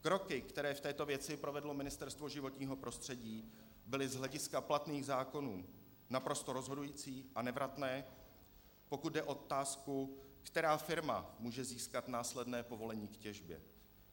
Kroky, které v této věci provedlo Ministerstvo životního prostředí, byly z hlediska platných zákonů naprosto rozhodující a nevratné, pokud jde o otázku, která firma může získat následné povolení k těžbě.